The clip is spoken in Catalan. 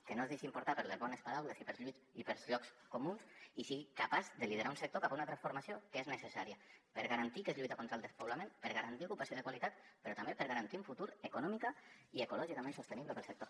que no es deixin portar per les bones paraules i pels llocs comuns i sigui capaç de liderar un sector cap a una transformació que és necessària per garantir que es lluita contra el despoblament per garantir ocupació de qualitat però també per garantir un futur econòmicament i ecològicament sostenible per al sector